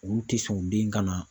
Olu tɛ sɔn den ka na.